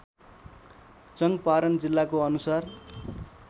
चङ्पारण जिल्लाको अनुसार